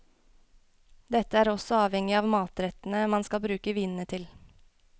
Dette er også avhengig av matrettene man skal bruke vinene til.